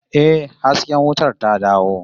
Yes, the light is back